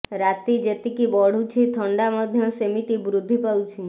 ରାତି ଯେତିକି ବଢ଼ୁଛି ଥଣ୍ଡା ମଧ୍ୟ ସେମିତି ବୃଦ୍ଧି ପାଉଛି